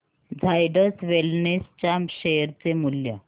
Zydus Wellness च्या share चे मूल्य